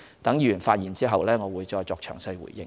待議員發言完畢後，我會再詳細回應。